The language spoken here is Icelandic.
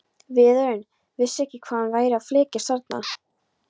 Vörðurinn vissi ekki hvað hún væri að flækjast þarna.